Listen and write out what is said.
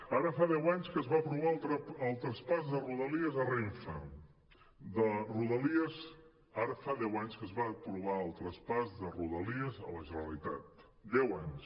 ara fa deu anys que es va aprovar el traspàs de rodalies a renfe de rodalies ara fa deu anys que es va aprovar el traspàs de rodalies a la generalitat deu anys